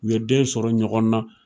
U ye den sɔrɔ ɲɔgɔn na.